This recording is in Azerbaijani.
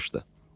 İnanmışdı.